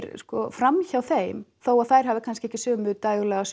fram hjá þeim þótt þær hafi kannski ekki sömu